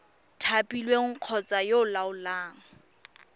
thapilweng kgotsa yo o laolang